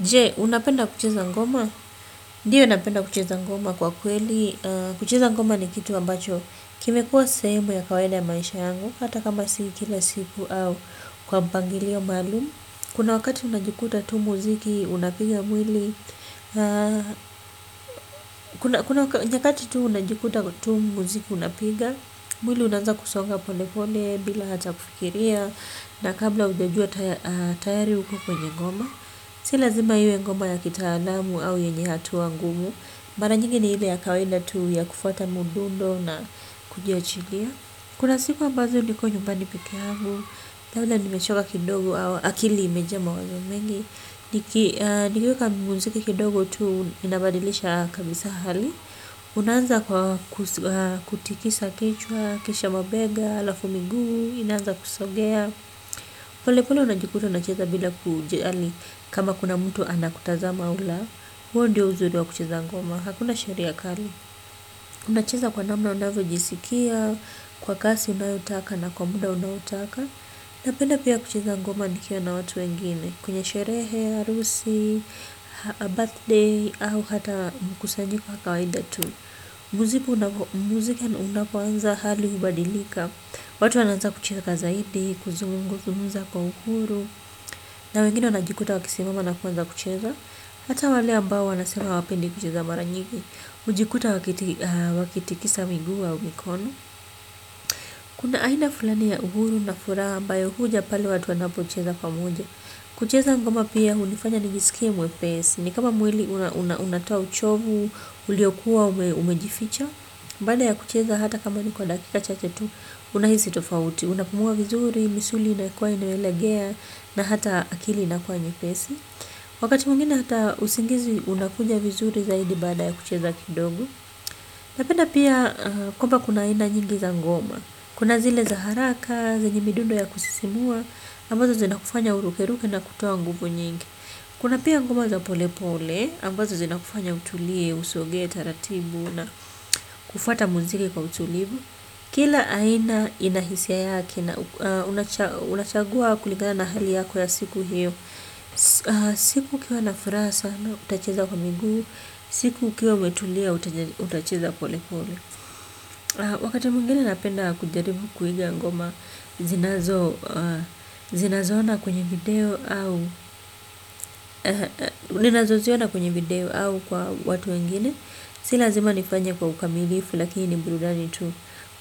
Jee, unapenda kucheza ngoma? Ndio napenda kucheza ngoma kwa kweli. Kucheza ngoma ni kitu ambacho. Kimekuwa sehemu ya kawaida ya maisha yangu. Hata kama si kila siku au kwa mpangilio maalum. Kuna wakati unajikuta tu muziki, unapiga mwili. Nyakati tu unajikuta tu muziki unapiga. Mwili unaanza kusonga pole pole bila hata kufikiria. Na kabla hujajua tayari uko kwenye ngoma. Si lazima iwe ngoma ya kitaalamu au yenye hatua ngumu. Mara nyingi ni ile ya kawaida tu ya kufuata mdundo na kujiachilia. Kuna siku ambazo niko nyumbani peke yangu labda nimechoka kidogo au akili imejaa mawazo mengi. Nikiweka muziki kidogo tu inabadilisha kabisa hali. Unaanza kwa kutikisa kichwa, kisha mabega, halafu miguu, inaanza kusogea. Pole pole unajikuta unacheza bila kujali kama kuna mtu anakutazama au la huo ndio uzuri wa kucheza ngoma. Hakuna sheria kali. Unacheza kwa namna unavyo jisikia. Kwa kasi unayotaka na kwa muda unaotaka. Napenda pia kucheza ngoma nikiwa na watu wengine. Kwenye sherehe, harusi, birthday au hata mkusanyiko wa kawaida tu. Muziki unapoanza hali hubadilika. Watu wanaanza kucheza kwa zaidi, kuzungumza kwa uhuru. Na wengine wanajikuta wakisimama na kuanza kucheza. Hata wale ambao wanasema hawapendi kucheza mara nyingi hujikuta wakitikisa miguu au mikono. Kuna aina fulani ya uhuru na furaha ambayo huja pale watu wanapo cheza pamoja. Kucheza ngoma pia hunifanya ni jisikie mwepesi. Ni kama mwili unatoa uchovu, uliokuwa umejificha. Baada ya kucheza hata kama ni kwa dakika chache tu unahisi tofauti, unapumua vizuri, misuli inakuwa inayolegea na hata akili inakuwa nyepesi wakati mwingine hata usingizi unakuja vizuri zaidi baada ya kucheza kidogo na penda pia kwamba kuna aina nyingi za ngoma kuna zile za haraka, zenye midundo ya kusisimua ambazo zina kufanya urukeruke na kutoa nguvu nyingi kuna pia ngoma za pole pole ambazo zina kufanya utulie, usogee, taratibu na kufuata muziki kwa utulivu. Kila aina inahisia yake, unachagua kulingana na hali yako ya siku hiyo. Siku ukiwa nafuraha sana, utacheza kwa miguu. Siku ukiwa umetulia, utacheza pole pole. Wakati mwingine napenda kujaribu kuiga ngoma zinazo, zinazoona kwenye video au, ninazo ziona kwenye video au kwa watu wengine. Si lazima nifanye kwa ukamilifu, lakini ni burudani tu.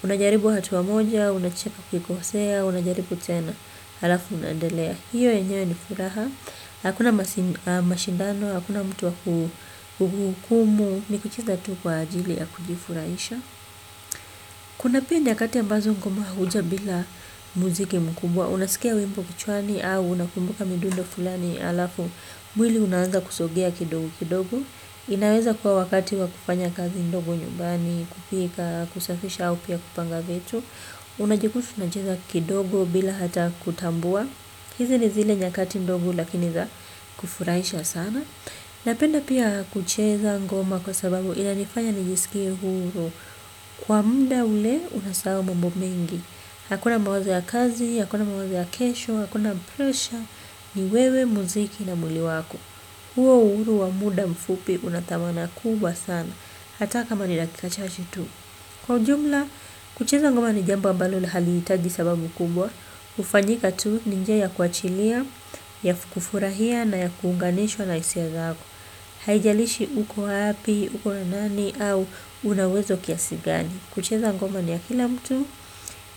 Unajaribu hatua moja, unacheka ukikosea, unajaribu tena halafu unaendelea, hiyo yenyewe ni furaha hakuna mashindano, hakuna mtu wa kuhukumu nikucheza tu kwa ajili ya kujifurahisha kuna pia nyakati ambazo ngoma huja bila muziki mkubwa unasikia wimbo kichwani au unakumbuka midundo fulani halafu mwili unaanza kusogea kidogo kidogo inaweza kuwa wakati wa kufanya kazi ndogo nyumbani kupika kusafisha au pia kupanga vitu. Unajikuta unacheza kidogo bila hata kutambua. Hizi ni zile nyakati ndogo lakini za kufurahisha sana. Napenda pia kucheza ngoma kwa sababu inanifanya nijisikie huru. Kwa muda ule unasahau mambo mengi. Hakuna mawazo ya kazi, hakuna mawazo ya kesho, hakuna pressure ni wewe muziki na mwili wako. Huo uhuru wa muda mfupi unadhamana kubwa sana. Hata kama ni dakikachache tu. Kwa ujumla, kucheza ngoma ni jambo ambalo halihitaji sababu kubwa hufanyika tu ninjia ya kuachilia, ya kufurahia na ya kuunganishwa na hisia zako. Haijalishi uko wapi, uko na nani au unauwezo kiasigani. Kucheza ngoma ni ya kila mtu.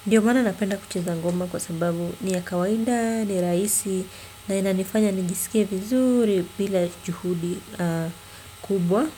Ndiyo maana napenda kucheza ngoma kwa sababu ni ya kawaida, ni rahisi. Na inanifanya nijisikie vizuri bila juhudi kubwa. Kwa hivyo.